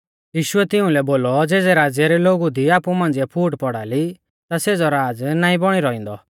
यीशुऐ तिउंलै बोलौ ज़ेज़ै राज़्य रै लोगु दी आपु मांझ़िऐ फूट पौड़ा ली ता सेज़ौ राज़ नाईं बौणी रौइंदौ